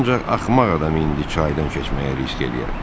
Ancaq axmaq adam indi çaydan keçməyə risk edər.